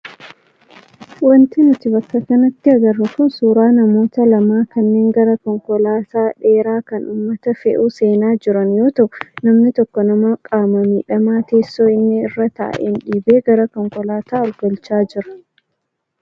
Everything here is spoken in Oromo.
Wanti nuti bakka kanatti agarru kun suuraa namoota lamaa kanneen gara konkolaataa dheeraa kan uummata fe'u seenaa jiran yoo ta'u, namni tokko nama qaama miidhamaa teessoo inni irra taa'een dhiibee gara konkolaataa ol galchaa jira.